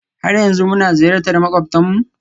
har yanzu muna ziyartar makwabtanmu?